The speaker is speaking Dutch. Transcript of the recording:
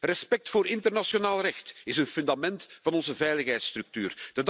Respect voor internationaal recht is het fundament van onze veiligheidsstructuur.